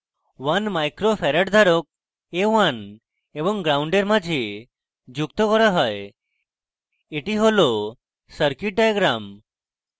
1uf a1 micro farad ধারক a1 এবং ground gnd এর মাঝে যুক্ত করা হয় এটি হল সার্কিট ডায়াগ্রাম